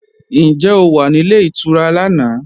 Ǹjẹ́ o wà nílé ìtura lánàá?